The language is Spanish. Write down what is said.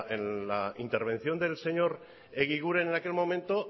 en la intervención del señor egiguren en aquel momento